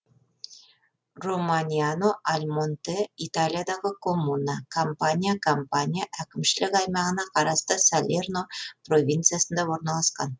романьяно аль монте италиядағы коммуна кампания кампания әкімшілік аймағына қарасты салерно провинциясында орналасқан